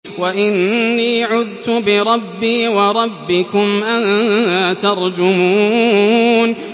وَإِنِّي عُذْتُ بِرَبِّي وَرَبِّكُمْ أَن تَرْجُمُونِ